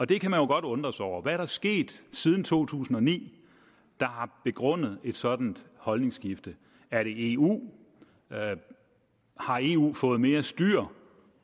det kan man jo godt undre sig over hvad er der sket siden to tusind og ni der har begrundet et sådant holdningsskifte er det eu har eu fået mere styr